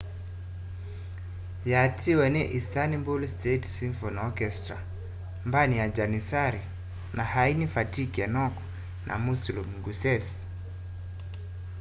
yatiiwe ni istanbul state symphony orchestra mbandi ya jannissary na aini fatih erkoḉ na müslüm gürses